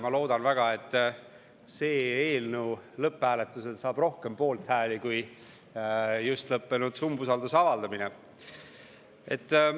Ma loodan väga, et see eelnõu saab lõpphääletusel rohkem poolthääli kui just lõppenud umbusalduse avaldamine.